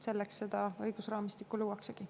Selleks seda õigusraamistikku luuaksegi.